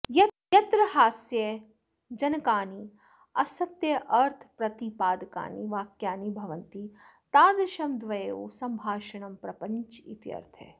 यत्र हास्यजनकानि असत्यार्थप्रतिपादकानि वाक्यानि भवन्ति तादृशं द्वयोः सम्भाषणं प्रपञ्च इत्यर्थः